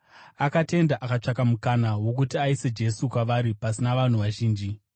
Akatenda, akatsvaka mukana wokuti aise Jesu kwavari pasina vanhu vazhinji.